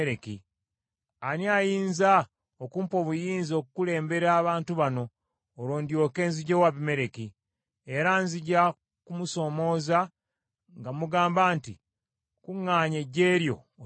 Ani ayinza okumpa obuyinza okukulembera abantu bano, olwo ndyoke nziggyewo Abimereki? Era nzija kumusoomooza nga mugamba nti, ‘Kuŋŋaanya eggye lyo, otulumbe.’ ”